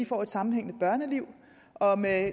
får et sammenhængende børneliv og med